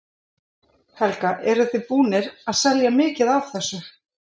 Helga: Eruð þið búnir að selja mikið af þessu?